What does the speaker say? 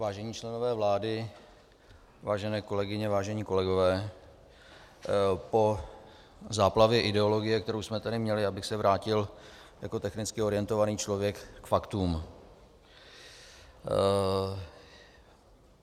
Vážení členové vlády, vážené kolegyně, vážení kolegové, po záplavě ideologie, kterou jsme tady měli, bych se vrátil jako technicky orientovaný člověk k faktům.